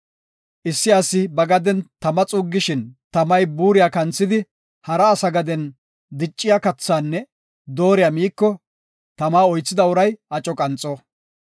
“Issi asi ba gaden tama xuuggishin tamay buuriya kanthidi hara asa gaden dicciya kathaanne dooriya miiko, tama oythida uray aco qanxo.